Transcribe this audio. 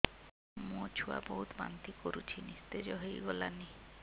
ମୋ ଛୁଆ ବହୁତ୍ ବାନ୍ତି କରୁଛି ନିସ୍ତେଜ ହେଇ ଗଲାନି